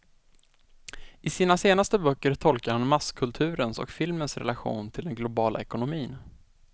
I sina senaste böcker tolkar han masskulturens och filmens relation till den globala ekonomin.